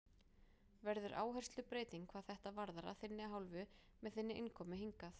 Verður áherslubreyting hvað þetta varðar að þinni hálfu með þinni innkomu hingað?